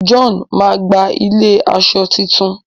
John má gbà ilẹ aṣọ títún